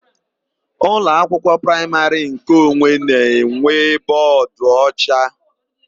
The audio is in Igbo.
Ụlọakwụkwọ praịmarị nkeonwe na-enwe bọọdụocha.